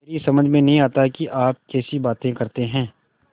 मेरी समझ में नहीं आता कि आप कैसी बातें करते हैं